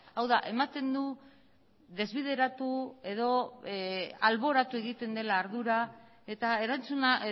hau da ematen du desbideratu edo alboratu egiten dela ardura eta erantzuna